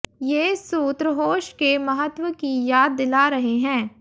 ये सूत्र होश के महत्व की याद दिला रहे हैं